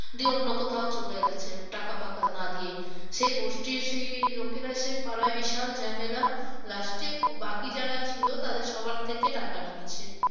দিয়ে অন্য কোথাও চলে গেছে টাকা ফাকা না দিয়ে। সে গোষ্ঠীর সে লোকেরা এসে পাড়ায় সে বিশাল ঝামেলা last এ বাকি যারা ছিল তাদের সবার থেকে টাকা নিয়েছে।